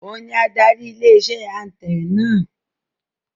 Òun ni adarí ilé iṣẹ́ atẹǹkan náà